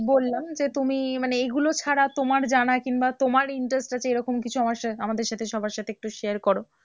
বললাম যে তুমি মানে এগুলো ছাড়া তোমার জানা কিংবা তোমার interest আছে রকম কিছু আমার সাথে আমাদের সাথে সবার সাথে একটু share করো?